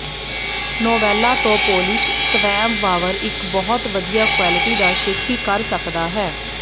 ਨੋਵੈਲਾ ਤੋਂ ਪੋਲਿਸ਼ ਸਵੈਂਵ ਵਾਵਰ ਇੱਕ ਬਹੁਤ ਵਧੀਆ ਕੁਆਲਿਟੀ ਦਾ ਸ਼ੇਖੀ ਕਰ ਸਕਦਾ ਹੈ